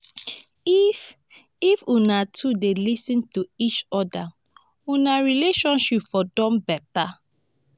if if una two dey lis ten to eachoda una relationship for don beta.